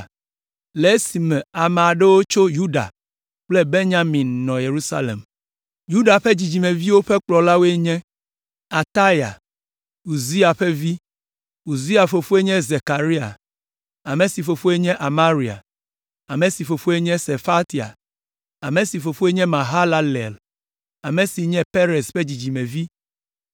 le esime ame aɖewo tso Yuda kple Benyamin nɔ Yerusalem. Yuda ƒe dzidzimeviwo ƒe kplɔlawoe nye: Ataya, Uzia ƒe vi. Uzia fofoe nye Zekaria, ame si fofoe nye Amaria, ame si fofoe nye Sefatia, ame si fofoe nye Mahalalel, ame si nye Perez ƒe dzidzimevi;